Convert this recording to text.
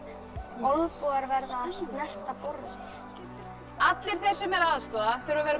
olnbogar verða að snerta borðið allir þeir sem eru að aðstoða þurfa að vera með